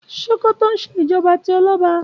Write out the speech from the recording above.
Ṣòkòtò ń ṣe ìjọba tí ọlọ́ba